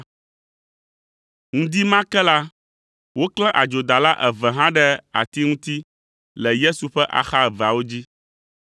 Ŋdi ma ke la, woklã adzodala eve hã ɖe ati ŋuti le Yesu ƒe axa eveawo dzi.